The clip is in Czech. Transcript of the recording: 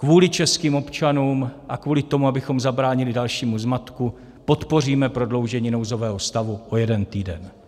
Kvůli českým občanům a kvůli tomu, abychom zabránili dalšímu zmatku, podpoříme prodloužení nouzového stavu o jeden týden.